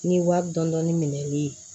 Ni wari dɔndɔni minɛli ye